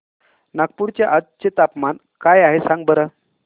नागपूर चे आज चे तापमान काय आहे सांगा बरं